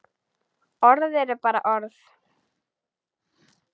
Orð eru bara orð.